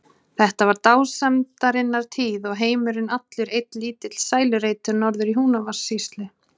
Þetta var dásemdarinnar tíð og heimurinn allur einn lítill sælureitur norður í Húnavatnssýslu.